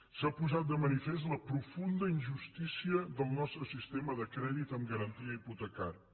s’ha posat de manifest la profunda injustícia del nostre sistema de crèdit amb garantia hipo tecària